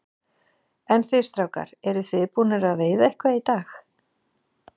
En þið strákar, eruð þið búnir að veiða eitthvað í dag?